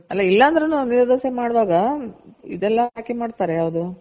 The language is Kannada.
ಅಲ್ಲ ಇಲ್ಲ ಅಂದ್ರುನು ನೀರ್ ದೋಸೆ ಮಾಡೋವಾಗ ಇದೆಲ್ಲ ಹಾಕಿ ಮಾಡ್ತಾರೆ ಯಾವ್ದು